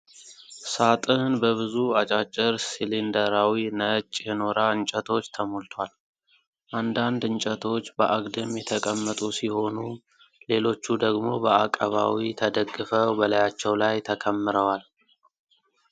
ሳጥን በብዙ አጫጭር፣ ሲሊንደራዊ፣ ነጭ የኖራ እንጨቶች ተሞልቷል። አንዳንድ እንጨቶች በአግድም የተቀመጡ ሲሆኑ ሌሎቹ ደግሞ በአቀባዊ ተደግፈው በላያቸው ላይ ተከምረዋል።